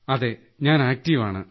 അതേ ഞാൻ ആക്ടീവ് ആണ്